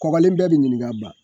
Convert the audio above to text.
Kɔgɔlen bɛɛ be ɲinin ka ban